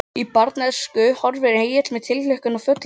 Í bernsku horfir Egill með tilhlökkun til fullorðinsára.